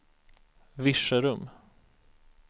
Virserum